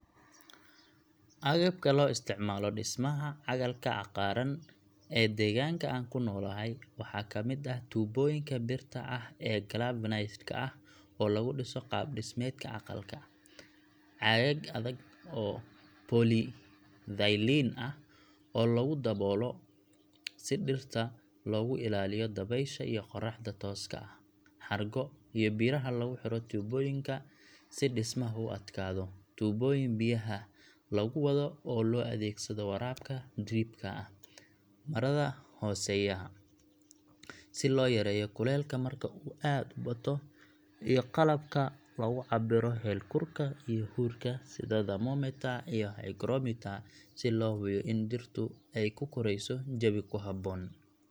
Agabka loo isticmaalo dhismaha aqalka cagaaran ee deegaanka aan ku noolahay waxaa ka mid ah tuubooyinka birta ah ee galvanized ka ah oo lagu dhiso qaab-dhismeedka aqalka, caagag adag oo polyethylene ah oo lagu daboolo si dhirta loogu ilaaliyo dabaysha iyo qorraxda tooska ah, xargo iyo biraha lagu xiro tuubooyinka si dhismaha u adkaado, tuubooyin biyaha lagu wado oo loo adeegsado waraabka drip ka ah, marada hoosaysa si loo yareeyo kulaylka marka uu aad u bato, iyo qalabka lagu cabbiro heerkulka iyo huurka sida thermometer iyo hygrometer si loo hubiyo in dhirtu ay ku korayso jawi ku habboon.